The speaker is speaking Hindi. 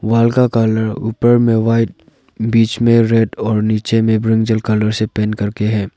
वाल का कलर ऊपर में व्हाइट बीच में रेड और नीचे में ब्रिंजल कलर से पेंट करके है।